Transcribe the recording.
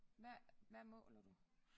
Hvad hvad måler du